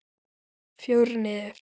Fjórir niður!